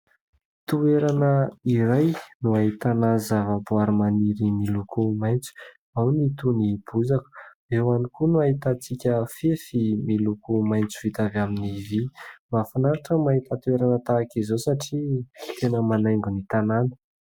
Toerana iray no ahitana zavaboary maniry miloko maitso. Ao ny toy ny bozaka, eo ihany koa no ahitantsika fefy miloko maitso vita avy amin'ny vy. Mahafinaritra ny mahita toerana tahaka izao satria tena manaingo ny tanàna.